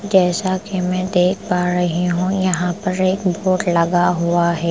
जैसा कि मैं देख पा रही हूँ यहाँ पर एक बोर्ड लगा हुआ है ।